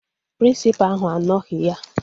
Prịnsịpa ahụ anoghi ya